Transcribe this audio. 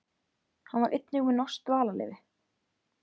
Hann var einnig með norskt dvalarleyfi